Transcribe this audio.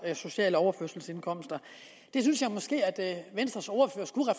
sociale overførselsindkomster det synes jeg måske at venstres ordfører skulle